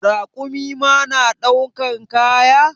Rakumi ma na daukan kaya?